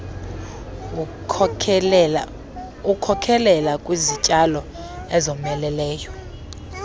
wkhokelela kwizityalo ezomeleleyo